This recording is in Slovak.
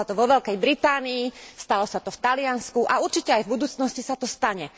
Stalo sa to vo Veľkej Británii, stalo sa to v Taliansku a určite aj v budúcnosti sa to stane.